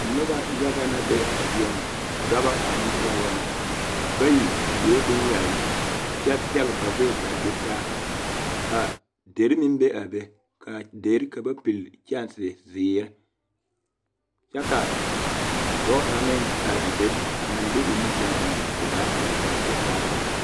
Noba yaga na be a zie ŋa dɔba ane pɔgeba na bayi sue bonyaayi kyɛ zɛge ba gbɛɛ k,a do saa ka deri meŋ be a be a deri ka ba pili kyɛnsezeere kyɛ ka dɔɔ kaŋ meŋ are a be a meŋ de o nu toŋ eŋ o dagakparoo kɔre kyɛ kaara ba.